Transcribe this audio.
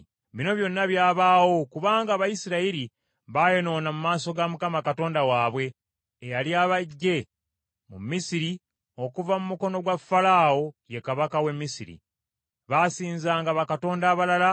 Bino byonna byabaawo kubanga Abayisirayiri bayonoona mu maaso ga Mukama Katonda waabwe, eyali abaggye mu Misiri okuva mu mukono gwa Falaawo, ye kabaka w’e Misiri. Baasinzanga bakatonda abalala,